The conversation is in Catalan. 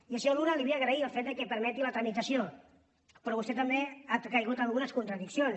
i al senyor luna li vull agrair el fet que en permeti la tramitació però vostè també ha caigut en algunes contradiccions